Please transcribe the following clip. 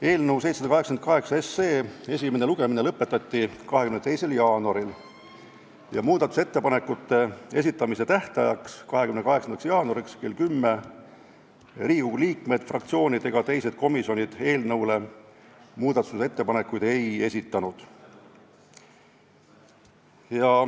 Eelnõu 788 esimene lugemine lõpetati 22. jaanuaril ja muudatusettepanekute esitamise tähtajaks, 28. jaanuaril kella 10-ks Riigikogu liikmed, fraktsioonid ega teised komisjonid eelnõu kohta muudatusettepanekuid ei esitanud.